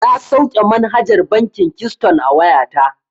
Na sauke manhajar bankin kiston a wayata.